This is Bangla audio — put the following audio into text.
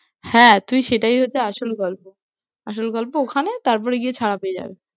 হ্যাঁ, তুই সেটাই হচ্ছে আসল গল্প, আসল গল্প ওখানে তারপরে গিয়ে ছাড়া পেয়ে যাবে।